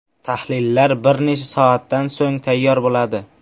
Tahlillar bir necha soatdan so‘ng tayyor bo‘ladi.